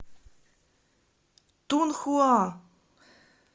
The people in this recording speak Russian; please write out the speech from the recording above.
тунхуа